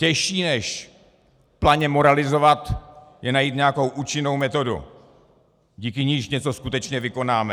"Těžší než planě moralizovat je najít nějakou účinnou metodu, díky níž něco skutečně vykonáme."